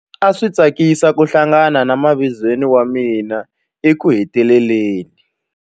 A swi tsakisa ku hlangana na mavizweni wa mina ekuheteleleni.